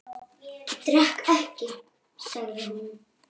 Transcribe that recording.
Ég drekk ekki, sagði hún.